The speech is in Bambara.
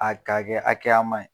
A ka kɛ hakɛyaman ye.